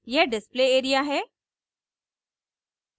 यह display area है